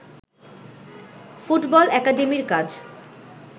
football একাডেমীর কাজ